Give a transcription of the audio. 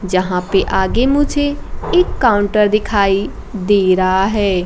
जहां पे आगे मुझे एक काउंटर दिखाई दे रहा है।